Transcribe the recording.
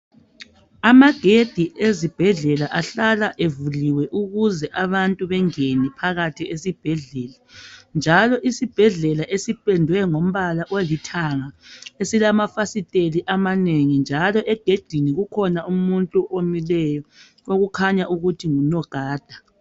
Amagedi ezibhedlela ahlala evuliwe ukuze abantu bengene phakathi esibhedlela njalo isibhedlela esipendwe ngombala olithanga esilamafasiteli amanengi njalo egedini kukhona umuntu omileyo okukhanya ukuthi ngunogada.